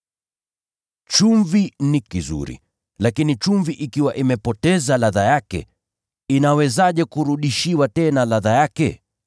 “Chumvi ni nzuri, lakini chumvi ikiwa imepoteza ladha yake, itafanywaje ili iweze kukolea tena?